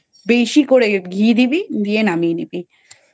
বেশি করে ঘি দিবি দিয়ে নামিয়ে নিবি।